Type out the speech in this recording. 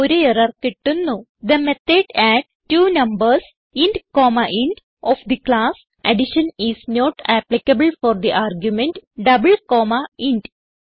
ഒരു എറർ കിട്ടുന്നു the method add two numbers int comma int of the class addition is not applicable for the argument double comma int